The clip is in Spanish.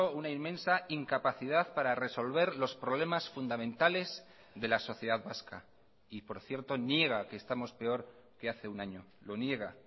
una inmensa incapacidad para resolver los problemas fundamentales de la sociedad vasca y por cierto niega que estamos peor que hace un año lo niega